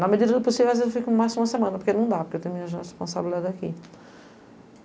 Na medida do possível, às vezes eu fico mais de uma semana, porque não dá, porque eu tenho minhas responsabilidade aqui.